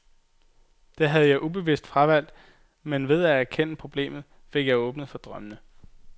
Det havde jeg ubevidst fravalgt, men ved at erkende problemet fik jeg åbnet for drømmene.